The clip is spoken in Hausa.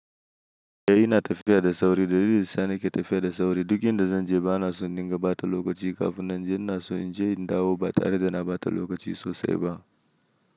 Eh ina tafiya da sauri dalilin sa nake tafiya da sauri. Duk inda zan je bana so indinga bata lokaci kafun nan je. Ina so inje in dawo batare da na bata lokaci sosai ba.